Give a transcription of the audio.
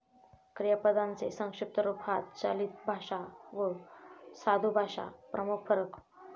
क्रियापदांचे संक्षिप्त रूप हा चालितभाषा वा साधुभाषा प्रमुख फरक.